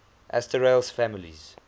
asterales families